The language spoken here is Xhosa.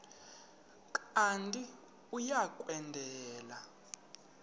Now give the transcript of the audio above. kanti uia kwendela